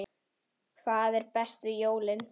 Hvað er best við jólin?